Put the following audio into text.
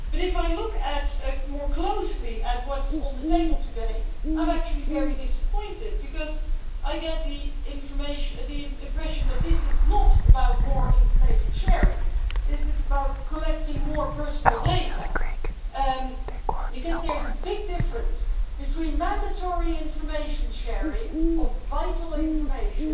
But if I look more closely at what is on the table today, I am actually very disappointed because I get the impression that this is not about more information sharing, this is about collecting more personal data. There is a big difference between mandatory information sharing of vital information